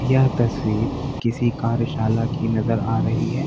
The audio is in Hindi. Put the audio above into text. यह तस्वीर किसी कार्यशाला की नजर आ रही है।